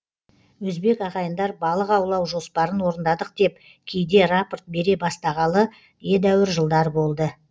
өзбек ағайындар балық аулау жоспарын орындадық деп кейде рапорт бере бастағалы едәуір жылдар болды